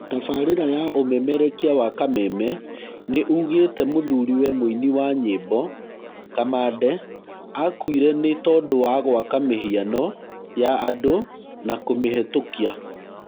Tabarĩra ya ũmemerekia wa kameme nĩ ũgĩte mũthuriwe mũini wa nyĩmbo, Kamande akuire nĩ tondũwa gwaka mĩhĩano ya andũna kũmĩhetũkia.